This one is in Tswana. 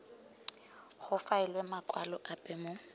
go faelwe makwalo ape mo